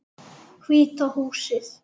Hvíta húsið.